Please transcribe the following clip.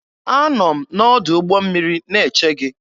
Anọ m n'ọdụ ụgbọ mmiri na-eche gị.